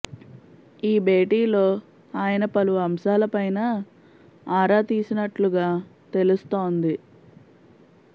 ఈ భేటీలో ఆయన పలు అంశాల పైన ఆరా తీసినట్లుగా తెలుస్తోంది